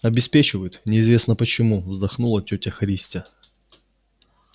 обеспечивают неизвестно почему вздохнула тётя христя